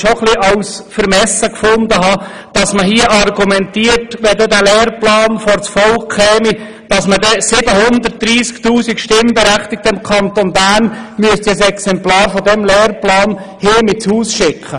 Ich fand es schon ein wenig vermessen, dass hier argumentiert wurde, wenn der Lehrplan vor das Volk käme, dann müsste man den 730 000 Stimmberechtigten im Kanton Bern je ein Exemplar dieses Lehrplans nach Hause schicken.